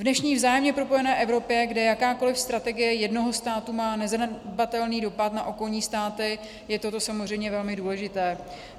V dnešní vzájemně propojené Evropě, kde jakákoliv strategie jednoho státu má nezanedbatelný dopad na okolní státy, je toto samozřejmě velmi důležité.